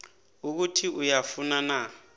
ukuthi uyafuna na